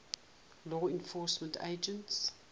law enforcement agencies